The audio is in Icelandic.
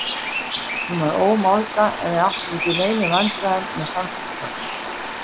Hún var ómálga en við áttum ekki í neinum vandræðum með samskipti okkar.